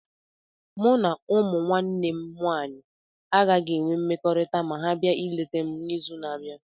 Mụ na ụmụ nwanne m nwanyị agaghị enwe mmekọrịta ma ha bia ịleta m n'izu na-abịa.